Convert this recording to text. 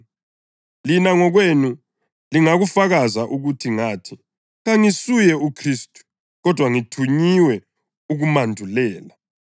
Lina ngokwenu lingakufakaza ukuthi ngathi, ‘Kangisuye uKhristu, kodwa ngithunyiwe ukumandulela.’